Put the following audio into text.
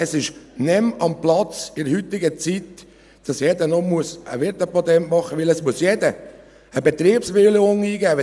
Es ist in der heutigen Zeit nicht mehr am Platz, dass jeder noch ein Wirtepatent machen muss, weil jeder eine Betriebsbewilligung eingeben muss.